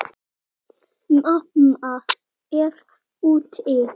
Mamma er úti.